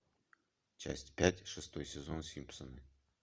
часть пять шестой сезон симпсоны